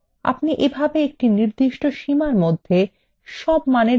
আপনি এভাবে একটি নির্দিষ্ট সীমার মধ্যে সব মানের যোগ করতে পারেন